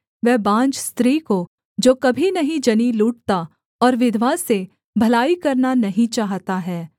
वह बाँझ स्त्री को जो कभी नहीं जनी लूटता और विधवा से भलाई करना नहीं चाहता है